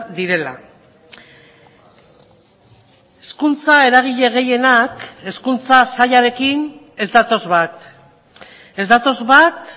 direla hezkuntza eragile gehienak hezkuntza sailarekin ez datoz bat ez datoz bat